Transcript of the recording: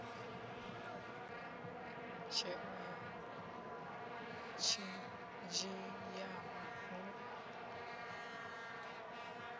ha tsheo yo dzhiwaho hu